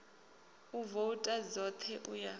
u vouta dzoṱhe u ya